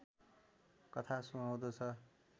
कथा सुहाउँदो छ